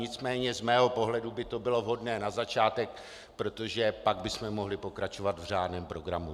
Nicméně z mého pohledu by to bylo vhodné na začátek, protože pak bychom mohli pokračovat v řádném programu.